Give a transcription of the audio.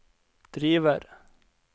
driver